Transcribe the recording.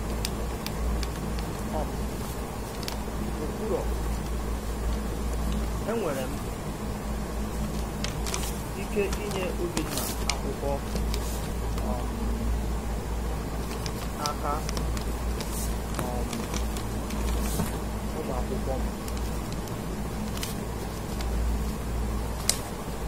um Ọ kwùrọ̀, “Enwere m ike inye Obinna akwụkwọ um n'aka um ụmụ akwụkwọ m.”